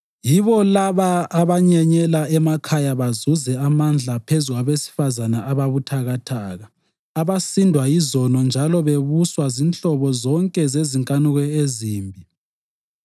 Yibo laba abanyenyela emakhaya bazuze amandla phezu kwabesifazane ababuthakathaka, abasindwa yizono njalo bebuswa zinhlobo zonke zezinkanuko ezimbi,